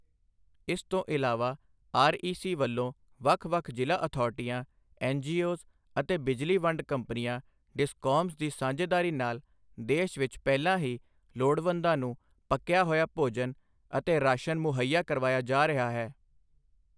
ਇਸ ਤੋਂ ਇਲਾਵਾ, ਆਰਈਸੀ ਵੱਲੋਂ ਵੱਖ ਵੱਖ ਜ਼ਿਲ੍ਹਾ ਅਥਾਰਿਟੀਆਂ, ਐੱਨਜੀਓਜ਼ ਅਤੇ ਬਿਜਲੀ ਵੰਡ ਕੰਪਨੀਆਂ ਡਿਸਕੌਮਸ ਦੀ ਸਾਂਝੇਦਾਰੀ ਨਾਲ ਦੇਸ਼ ਵਿੱਚ ਪਹਿਲਾਂ ਹੀ ਲੋੜਵੰਦਾਂ ਨੂੰ ਪੱਕਿਆ ਹੋਇਆ ਭੋਜਨ ਅਤੇ ਰਾਸ਼ਨ ਮੁਹੱਈਆ ਕਰਵਾਇਆ ਜਾ ਰਿਹਾ ਹੈ।